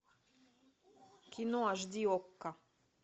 кино аш ди окко